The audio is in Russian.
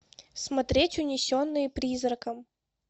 смотреть унесенные призраком